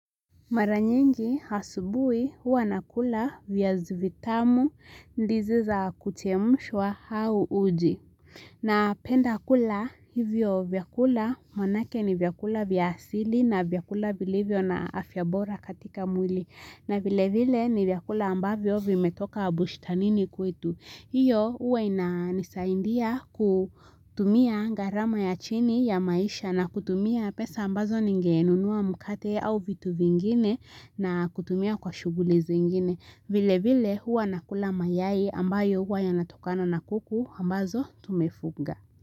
Mara nyingi asubuhi huwa nakula viazi vitamu ndizi za kuchemshwa au uji. Napenda kula hivyo vyakula maanake ni vyakula vya asili na vyakula vilivyo na afya bora katika mwili. Na vilevile ni vyakula ambavyo vimetoka bushtanini kwetu. Iyo huwa inanisaidia kutumia gharama ya chini ya maisha na kutumia pesa ambazo ningenunua mkate au vitu vingine na kutumia kwa shughuli zingine. Vile vile huwa nakula mayai ambayo huwa yanatokana na kuku ambazo tumefuga.